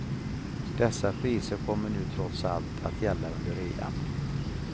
Dessa priser kommer nu trots allt att gälla under rean.